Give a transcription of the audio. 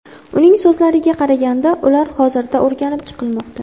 Uning so‘zlariga qaraganda, ular hozirda o‘rganib chiqilmoqda.